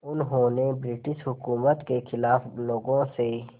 उन्होंने ब्रिटिश हुकूमत के ख़िलाफ़ लोगों से